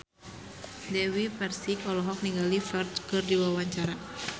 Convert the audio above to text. Dewi Persik olohok ningali Ferdge keur diwawancara